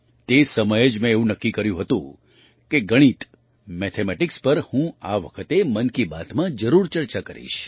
તે સમયે જ મેં એવું નક્કી કર્યું હતું કે ગણિતમેથેમેટિક્સ પર હું આ વખતે મન કી બાતમાં જરૂર ચર્ચા કરીશ